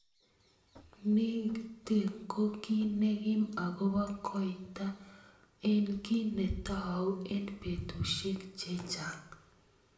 Nitik ko ki nekim akobo koito eng ki netou eng betushek chechang.